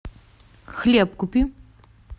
хлеб купи